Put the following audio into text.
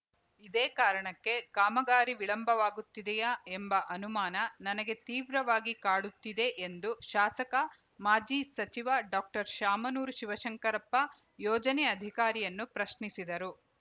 ಇದೇ ಕಾರಣಕ್ಕೆ ಕಾಮಗಾರಿ ವಿಳಂಬವಾಗುತ್ತಿದೆಯಾ ಎಂಬ ಅನುಮಾನ ನನಗೆ ತೀವ್ರವಾಗಿ ಕಾಡುತ್ತಿದೆ ಎಂದು ಶಾಸಕ ಮಾಜಿ ಸಚಿವ ಡಾಕ್ಟರ್ಶಾಮನೂರು ಶಿವಶಂಕರಪ್ಪ ಯೋಜನೆ ಅಧಿಕಾರಿಯನ್ನು ಪ್ರಶ್ನಿಸಿದರು